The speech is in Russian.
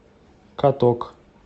каток